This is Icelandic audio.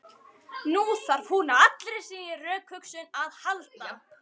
Nú þarf hún á allri sinni rökhugsun að halda.